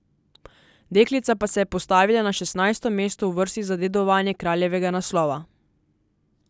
Deklica pa se je postavila na šestnajsto mesto v vrsti za dedovanje kraljevega naslova.